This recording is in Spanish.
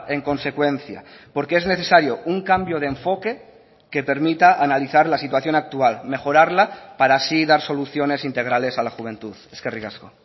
en consecuencia porque es necesario un cambio de enfoque que permita analizar la situación actual mejorarla para así dar soluciones integrales a la juventud eskerrik asko